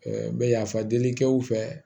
n bɛ yafa deli kɛ u fɛ